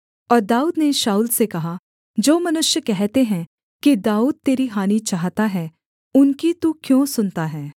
और दाऊद ने शाऊल से कहा जो मनुष्य कहते हैं कि दाऊद तेरी हानि चाहता है उनकी तू क्यों सुनता है